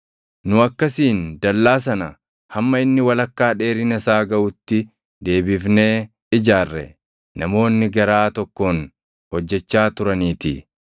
Nu akkasiin dallaa sana hamma inni walakkaa dheerina isaa gaʼutti deebifnee ijaarre; namoonni garaa tokkoon hojjechaa turaniitii.